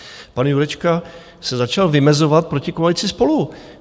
Pan Jurečka se začal vymezovat proti koalici SPOLU.